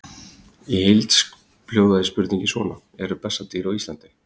Í heild hljóðaði spurningin svona: Eru bessadýr á Íslandi?